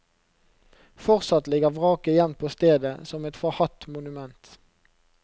Fortsatt ligger vraket igjen på stedet som et forhatt monument.